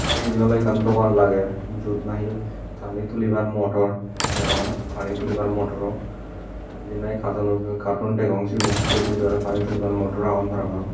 te eben oley ekkan dogan lager jiyot nahi pani tulibar motor degong pani tulibar motoro jiyen nahi katoono katon degong sigun se bidiredi oley pani tulibar motor agon parapang.